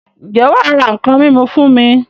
Ǹjẹ́ wà á ra nǹkan mímu fún mi?